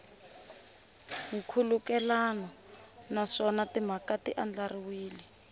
nkhulukelano naswona timhaka ti andlariwile